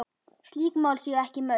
Slík mál séu ekki mörg.